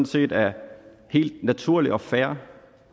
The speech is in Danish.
set er helt naturligt og fair